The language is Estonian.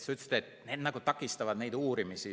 Sa ütlesid, et takistavad neid uurimisi.